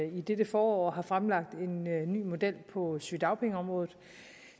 i dette forår har fremlagt en ny model på sygedagpengeområdet